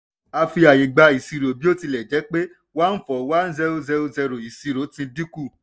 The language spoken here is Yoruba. a fi ààyè gbá ìṣirò bí ó tilẹ̀ jẹ́ pé one four one zero zero zero ìṣirò ti dínkù.